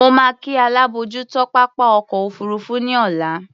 Mo máa kí alábòójútó pápá ọkọ̀ òfuurufú ní ọ̀la.